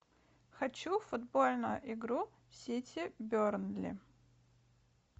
хочу футбольную игру сити бернли